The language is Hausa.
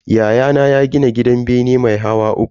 Yayana ya gini gidan bene mai hawa uku.